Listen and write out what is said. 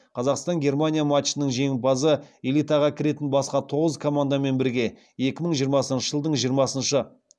қазақстан германия матчының жеңімпазы элитаға кіретін басқа тоғыз командамен бірге екі мың жиырмасыншы жылдың